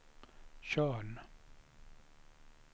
Tjörn